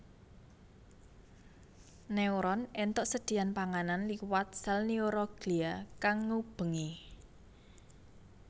Neuron éntuk sedhiyan panganan liwat sèl neuroglia kang ngubengi